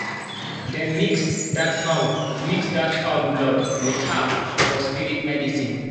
dem mix that fowl mix that fowl blood with herbs for spirit medicine.